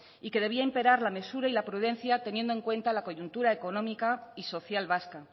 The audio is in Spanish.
y que debía imperar la mesura y la prudencia teniendo en cuenta la coyuntura económica y social vasca